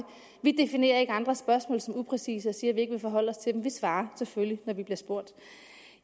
vi definerer ikke andres spørgsmål som upræcise og siger at vi ikke vil forholde os til dem vi svarer selvfølgelig når vi bliver spurgt